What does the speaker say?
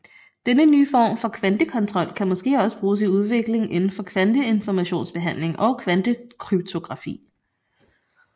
Denne nye form for kvantekontrol kan måske også bruges i udvikling indenfor kvanteinformationsbehandling og kvantekryptografi